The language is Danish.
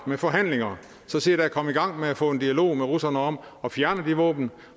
med forhandlinger så se da at komme i gang med at få en dialog med russerne om at fjerne de våben